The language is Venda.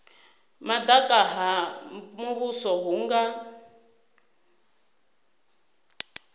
madaka ha muvhuso hu nga